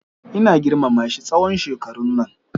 Ina girmama shi tsawon shekarun nan.